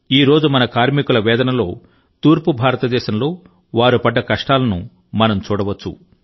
ఈ రోజు మన కార్మికుల వేదనలో తూర్పు భారతదేశంలో వారు పడ్డ కష్టాలను మనం చూడవచ్చు